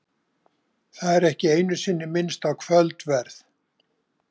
Það er ekki einu sinni minnst á kvöldverð.